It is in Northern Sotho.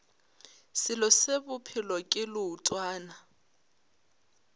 selo se bophelo ke leotwana